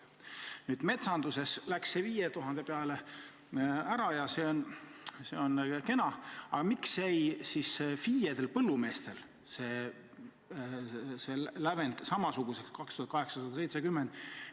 Nüüd, metsanduses tõsteti see summa 5000-ni ja see on kena, aga miks jäi see lävend FIE-dest põllumeestel samaks: 2870 eurot?